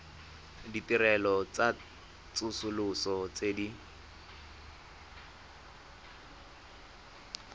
ditirelo tsa tsosoloso tse di